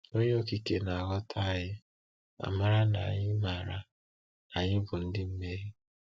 Onye Okike na-aghọta anyị ma mara na anyị mara na anyị bụ ndị mmehie.